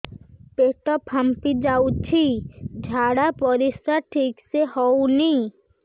ପେଟ ଫାମ୍ପି ଯାଉଛି ଝାଡ଼ା ପରିସ୍ରା ଠିକ ସେ ହଉନି